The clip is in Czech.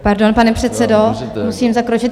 Pardon, pane předsedo, musím zakročit.